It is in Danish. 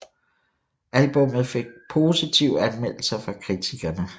Albummet fik positive anmeldelser fra kritikerne